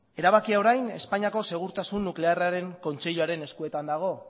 erabakia orain espainiako segurtasun nuklearraren kontseiluaren eskuetan dago